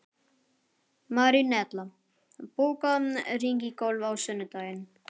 Marinella, bókaðu hring í golf á sunnudaginn.